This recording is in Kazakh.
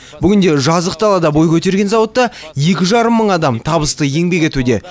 бүгінде жазық далада бой көтерген зауытта екі жарым мың адам табысты еңбек етуде